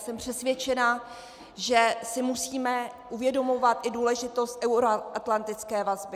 Jsem přesvědčena, že si musíme uvědomovat i důležitost euroatlantické vazby.